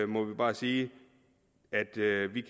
må vi bare sige at